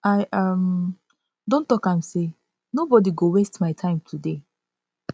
i um don talk am sey nobodi go waste my time today